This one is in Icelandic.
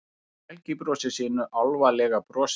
Helgi brosir sínu álfalega brosi.